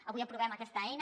avui aprovem aquesta eina